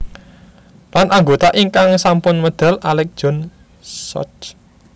Lan anggota ingkang sampun medal Alec John Such